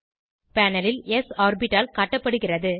panel ல் ஸ் ஆர்பிட்டால் காட்டப்படுகிறது